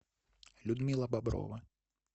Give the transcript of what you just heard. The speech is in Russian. людмила боброва